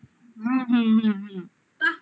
হুম হুম হুম হুম